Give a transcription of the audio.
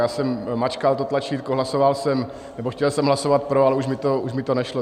Já jsem mačkal to tlačítko, hlasoval jsem, nebo chtěl jsem hlasovat pro, ale už mi to nešlo.